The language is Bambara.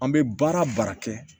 An bɛ baara o baara kɛ